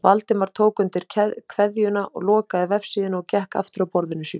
Valdimar tók undir kveðjuna, lokaði vefsíðunni og gekk aftur að borðinu sínu.